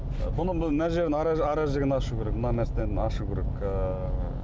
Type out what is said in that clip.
бұның мына жерін аражігін ашу керек бір мына мәселені ашу керек ыыы